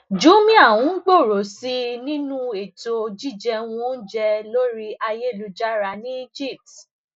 jumia n gbòòrò sí i nínú ètò jíjẹun oúnjẹ lórí ayélujára ní egypt